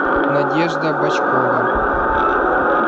надежда бочкова